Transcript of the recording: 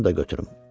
Qoy bunu da götürüm.